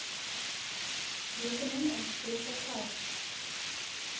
rekening aanspreeklik gehou